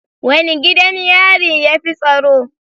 Wane gidan yari yafi tsaro